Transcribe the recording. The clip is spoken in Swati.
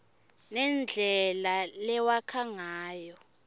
nendlela lewakha ngayo